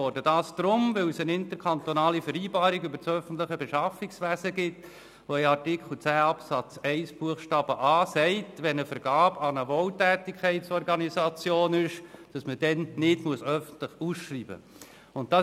Das geschah deshalb nicht, weil es eine Interkantonale Vereinbarung über das öffentliche Beschaffungswesen (IVöB) gibt, die in Artikel 10 Absatz 1 Buchstabe a festhält, dass eine Vergabe an eine Wohltätigkeitsorganisation nicht öffentlich ausgeschrieben werden muss.